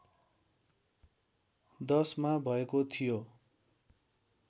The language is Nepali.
१० मा भएको थियो